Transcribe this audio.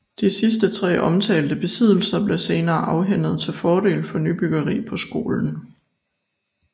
De sidste tre omtalte besiddelser blev senere afhændet til fordel for nybyggeri på skolen